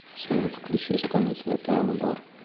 салют включи исполнителя пиано бар